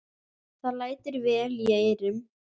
Það lætur vel í eyrum.